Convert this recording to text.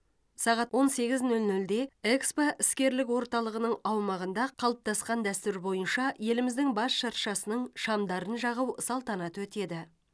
сағат он сегіз нөл нөлде экспо іскерлік орталығының аумағында қалыптасқан дәстүр бойынша еліміздің бас шыршасының шамдарын жағу салтанаты өтеді